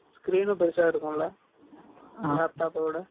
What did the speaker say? Screen ம் பெருசா இருக்கும்ல 11 . laptop ஓட?